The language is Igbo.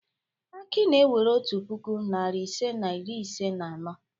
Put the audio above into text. Aki na-ewere otu puku, narị ise na iri ise na anọ.